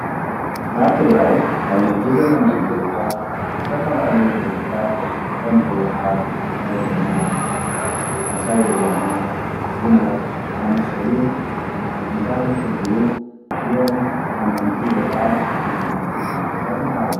ኣብ ትግራይ ኣብ ዚ ሕጂ ዘለናሉ ደረጃ ዝተፈላለዩ ድርጅታት ከም ህወሓት፣ ባይቶና፣ ሳልሳይ ወያነ ፣ዉናት ዝኣመሰሉ ድርጅታት እንትህልዉ እዚኦም ተቐናቐንቲ ወይካዓ ተናሕናሕቲ ድርጅታት ይበሃሉ ።